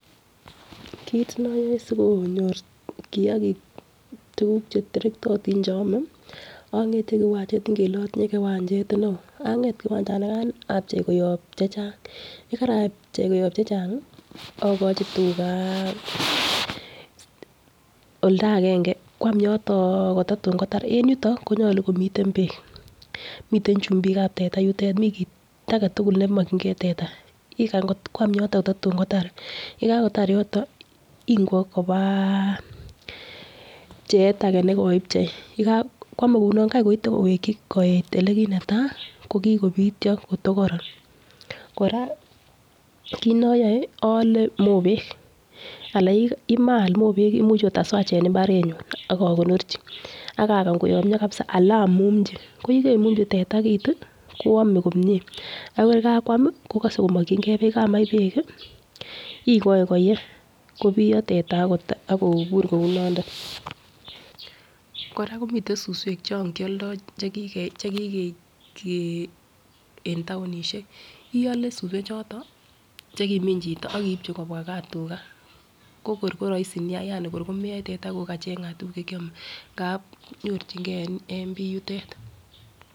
Kit noyoe sikonyor kiyagik tukuk cheterektotin che ome ongete en kiwanchet ingele itinye kiwanchet neo anget kiwanchanikan apchei koyob chechang yekarapchei koyob chechangi okochi tugaa oldo agenge kwam yoton kotatun kotar. En yuto konyoluu komiten beek miten chumbikab teta yutet mii kit agetukul nemokingee teta ikany kot kwam yoton tatun kotar yekakotar yoto ingwek kobaa pchet age nekoipchei, yeka kwome kouno Kai koite koweki koit olekineta koki kopityo kotokoron. Koraa kit noyoe ole mobek ala yemaak mobek imuch ot aswach en imabarenyun ak okonorchi akakany koyomyo kabisa ana imuchi ko yekemumchi teta kit tii konome komie ak yekakwami kokose komokingee beek, yakamach beek kii ikoi koyee kobiyo teta ak kobur kou nondon. Koraa komiten suswek chon kioldo chekike chekikekee en townishek iole suswek choton chekimin chito ak ibchi kobwa gaa tugaa ko kor ko roisi nia yani ko komeyoe teta kokachengat tukuk chekiome ngap nyorchingee en bii yutet.